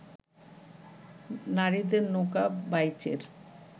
নারীদের নৌকা বাইচের